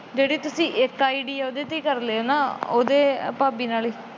ਜਿਹੜੀ ਤੁਸੀਂ ਇੱਕ ਆਈ ਡੀ ਏ ਉਹਦੇ ਤੇ ਕਰ ਲਿਓ ਨਾ ਭਾਬੀ ਨਾਲ।